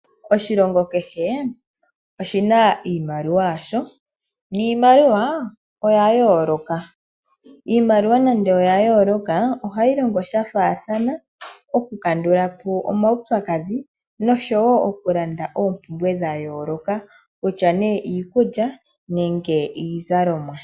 Oshilongo kehe oshina iimaliwa yaasho niimaliwa oya yooloka, iimaliwa nande oya yoolokathana ohayi longo sha faathana okukandulapo omaupyakadhi nosho woo okulanda oompumbwe dha yooloka, ngaashi iikulya niizalomwa.